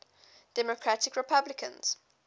democratic republicans